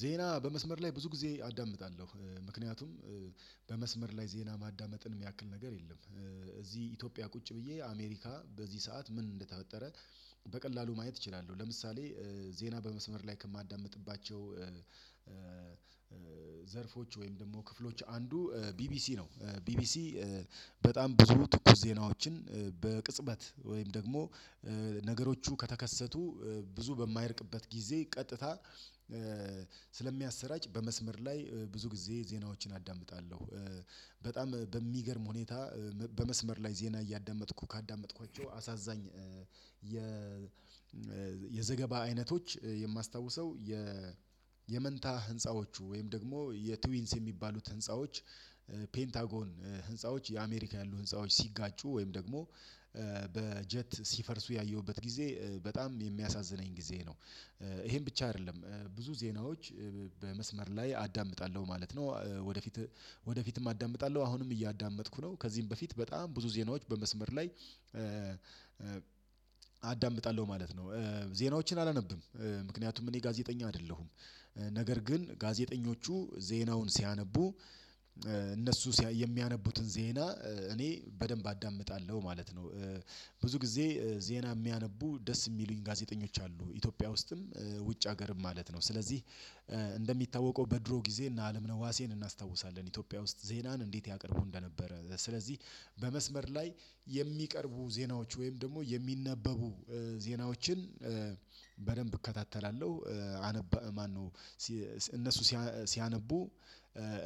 ዜና በመስመር ላይ ብዙ ጊዜ አዳምጣለሁ ምክንያቱም በመስመር ላይ ዜና ማዳመጥን የሚያክል ነገር የለም። እዚህ ኢትዮጵያ ቁጭ ብዬ አሜሪካ በዚህ ሰዓት ምን እንደተፈጠረ በቀላሉ ማየት እችላለሁ። ለምሳሌ ዜና በመስመር ላይ ከማዳምጥባቸው ዘርፎች ወይም ደግሞ ክፍሎች አንዱ ቢቢሲ ነው። ቢቢሲ በጣም ብዙ ትኩስ ዜናዎችን በቅጽበት ወይም ደግሞ ነገሮቹ ከተከሰቱ ብዙ በማይርቅበት ጊዜ ቀጥታ ስለሚያሰራጭ በመስመር ላይ ብዙ ጊዜ ዜናዎችን አዳምጣለሁ። በጣም በሚገርም ሁኔታ በመስመር ላይ ዜና እያዳመጥኩ ካዳመጥኳቸው አሳዛኝ የ የዘገባ አይነቶች የማስታውሰው የ የመንታ ህንፃዎቹ ወይም ደግሞ የትዊንስ የሚባሉት ህንፃዎች ፔንታጎን ህንፃዎች የአሜሪካ ያሉ ህንፃዎች ሲጋጩ ወይም ደግሞ በጀት ሲፈርሱ ያየሁበት ጊዜ በጣም የሚያሳዝነኝ ጊዜ ነው። ይሄን ብቻ አይደለም ብዙ ዜናዎች በመስመር ላይ አዳምጣለሁ ማለት ነው። ወደፊት ወደፊትም አዳምጣለሁ አሁንም እያዳመጥኩ ነው ከዚህም በፊት በጣም ብዙ ዜናዎች በመስመር ላይ አዳምጣለሁ ማለት ነው። ዜናዎችን አላነብም ምክንያቱም እኔ ጋዜጠኛ አይደለሁም። ነገር ግን ጋዜጠኞቹ ዜናውን ሲያነቡ እነሱ የሚያነቡትን ዜና እኔ በደንብ አዳምጣለሁ ማለት ነው። ብዙ ጊዜ ዜና የሚያነቡ ደስ የሚሉኝ ጋዜጠኞች አሉ ኢትዮጵያ ውስጥም ውጭ ሀገርም ማለት ነው። ስለዚህ እንደሚታወቀው በድሮ ጊዜ እነ አለምነህ ዋሴን እናስታውሳለን ኢትዮጵያ ውስጥ ዜናን እንዴት ያቀርቡ እንደነበረ። ስለዚህ በመስመር ላይ የሚቀርቡ ዜናዎች ወይም ደግሞ የሚነበቡ ዜናዎችን በደንብ እከታተላለሁ። አነባ ማነው እነሱ ሲያነቡ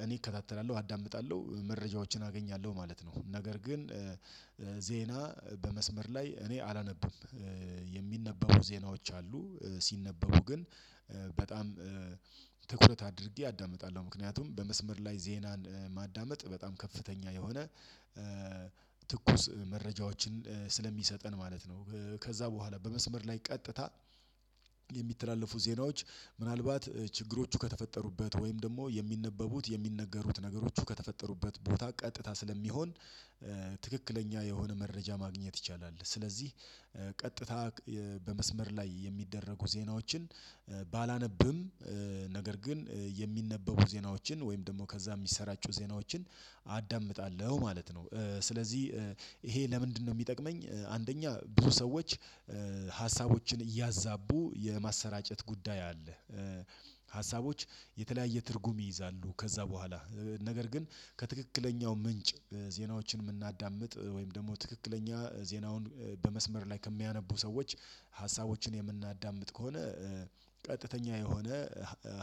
እኔ እከታተላለሁ አዳምጣለሁ መረጃዎችን አገኛለሁ ማለት ነው። ነገር ግን ዜና በመስመር ላይ እኔ አላነብም። የሚነበቡ ዜናዎች አሉ ሲነበቡ ግን በጣም ትኩረት አድርጌ አዳምጣለሁ። ምክንያቱም በመስመር ላይ ዜናን ማዳመጥ በጣም ከፍተኛ የሆነ ትኩስ መረጃዎችን ስለሚሰጠን ማለት ነው። ከዛ በኋላ በመስመር ላይ ቀጥታ የሚተላለፉ ዜናዎች ምናልባት ችግሮቹ ከተፈጠሩበት ወይም ደግሞ የሚነበቡት የሚነገሩት ነገሮች ከተፈጠሩበት ቦታ ቀጥታ ስለሚሆን ትክክለኛ የሆነ መረጃ ማግኘት ይቻላል። ስለዚህ ቀጥታ በመስመር ላይ የሚደረጉ ዜናዎችን ባላነብም ነገር ግን የሚነበቡ ዜናዎችን ወይም ደግሞ ከዛ የሚሰራጩ ዜናዎችን አዳምጣለሁ ማለት ነው። ስለዚህ ይሄ ለምንድነው የሚጠቅመኝ? አንደኛ ብዙ ሰዎች ሀሳቦችን እያዛቡ የማሰራጨት ጉዳይ አለ ሀሳቦች የተለያየ ትርጉም ይይዛሉ። ከዛ በኋላ ነገር ግን ከትክክለኛው ምንጭ ዜናዎችን የምናዳምጥ ወይም ደግሞ ትክክለኛ ዜናውን በመስመር ላይ ከሚያነቡ ሰዎች ሀሳቦችን የምናዳምጥ ከሆነ ቀጥተኛ የሆነ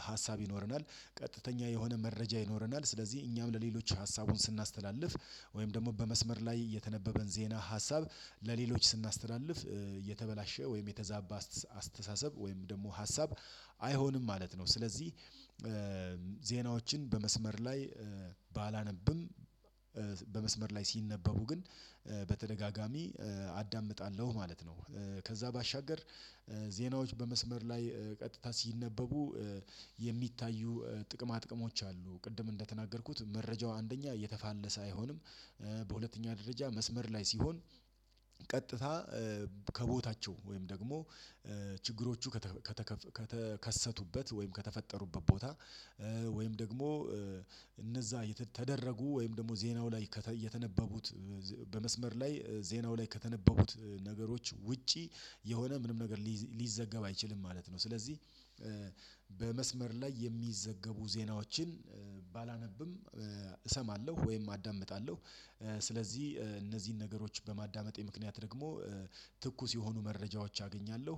ሀሳብ ይኖረናል። ቀጥተኛ የሆነ መረጃ ይኖረናል። ስለዚህ እኛም ለሌሎች ሀሳቡን ስናስተላልፍ ወይም ደግሞ በመስመር ላይ የተነበበን ዜና ሀሳብ ለሌሎች ስናስተላልፍ የተበላሸ ወይም የተዛባ አስተሳሰብ ወይም ደግሞ ሀሳብ አይሆንም ማለት ነው። ስለዚህ ዜናዎችን በመስመር ላይ ባላነብም በመስመር ላይ ሲነበቡ ግን በተደጋጋሚ አዳምጣለሁ ማለት ነው። ከዛ ባሻገር ዜናዎች በመስመር ላይ ቀጥታ ሲነበቡ የሚታዩ ጥቅማ ጥቅሞች አሉ። ቅድም እንደተናገርኩት መረጃው አንደኛ የተፋለሰ አይሆንም። በሁለተኛ ደረጃ መስመር ላይ ሲሆን ቀጥታ ከቦታቸው ወይም ደግሞ ችግሮቹ ከተከሰቱበት ወይም ከተፈጠሩበት ቦታ ወይም ደግሞ የተደረጉ ወይም ደግሞ ዜናው ላይ የተነበቡት በመስመር ላይ ዜናው ላይ ከተነበቡት ነገሮች ውጪ የሆነ ምንም ነገር ሊዘገብ አይችልም ማለት ነው። ስለዚህ በመስመር ላይ የሚዘገቡ ዜናዎችን ባላነብም እሰማለሁ ወይም አዳምጣለሁ። ስለዚህ እነዚህን ነገሮች በማዳመጤ ምክንያት ደግሞ ትኩስ የሆኑ መረጃዎች አገኛለሁ።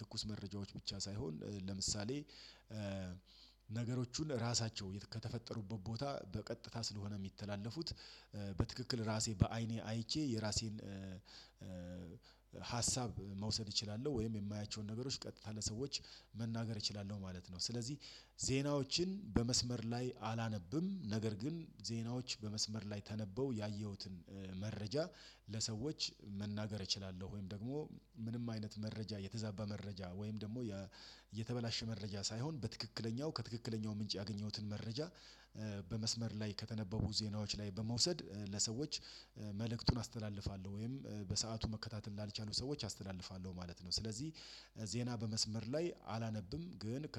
ትኩስ መረጃዎች ብቻ ሳይሆን ለምሳሌ ነገሮቹን ራሳቸው ከተፈጠሩበት ቦታ በቀጥታ ስለሆነ የሚተላለፉት በትክክል ራሴ በአይኔ አይቼ የራሴን ሀሳብ መውሰድ እችላለሁ ወይም የማያቸውን ነገሮች ቀጥታ ለሰዎች መናገር እችላለሁ ማለት ነው። ስለዚህ ዜናዎችን በመስመር ላይ አላነብም ነገር ግን ዜናዎች በመስመር ላይ ተነበው ያየሁትን መረጃ ለሰዎች መናገር እችላለሁ። ወይም ደግሞ ምንም አይነት መረጃ የተዛባ መረጃ ወይም ደግሞ የተበላሸ መረጃ ሳይሆን በትክክለኛው ከትክክለኛው ምንጭ ያገኘሁትን መረጃ በመስመር ላይ ከተነበቡ ዜናዎች ላይ በመውሰድ ለሰዎች መልእክቱን አስተላልፋለሁ ወይም በሰአቱ መከታተል ላልቻሉ ሰዎች አስተላልፋለሁ ማለት ነው። ስለዚህ ዜና በመስመር ላይ አላነብም ግን